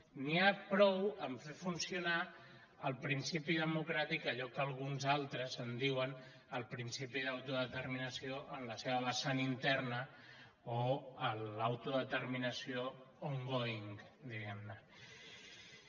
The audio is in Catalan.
n’hi ha prou a fer funcionar el principi democràtic allò que alguns altres en diuen el principi d’autodeterminació en la seva vessant interna o l’autodeterminació ongoing di·guem·ne